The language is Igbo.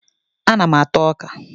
Ana m ata ọka